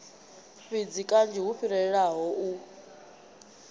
fhidzi kanzhi hu fhirelaho u